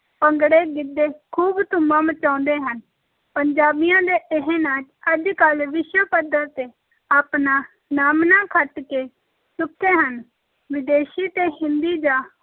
ਭੰਗੜੇ, ਗਿੱਧੇ ਖੂਬ ਧੁੰਮਾਂ ਮਚਾਉਂਦੇ ਹਨ, ਪੰਜਾਬੀਆਂ ਦੇ ਇਹ ਨਾਚ ਅੱਜ-ਕੱਲ੍ਹ ਵਿਸ਼ਵ ਪੱਧਰ ‘ਤੇ ਆਪਣਾ ਨਾਮਣਾ ਖੱਟ ਕੇ ਚੁੱਕੇ ਹਨ, ਵਿਦੇਸ਼ੀ ਤੇ ਹਿੰਦੀ ਜਾਂ